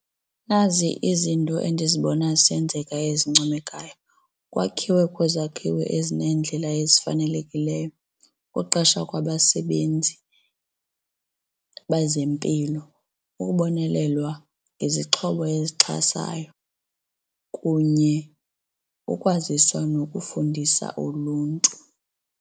Nazi izinto endizibona zisenzeka ezincomekayo, kwakhiwe kwezakhiwo ezineendlela ezifanelekileyo, ukuqesha kwabasebenzi bezempilo, ukubonelelwa ngezixhobo esixhasayo kunye ukwaziswa nokufundisa uluntu.